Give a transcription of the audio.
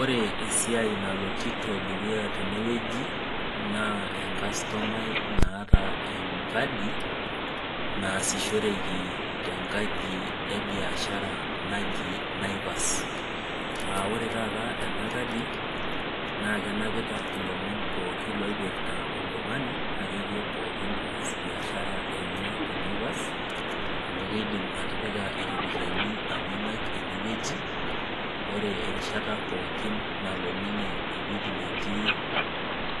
ore esiai naloito dukuya tenewueji naa engastomai naata enkadi nasishoreki tenkanji ebiashara naaji Naivas aa ore taata ena kadi naa kenapita elomon pookin oipirta oltung'ani akeyie pookin oas biashara enye tee Naivas amu kidim atipika eropiani Enya ene wueji ore ereshita pookin nalo ninye ewueji netii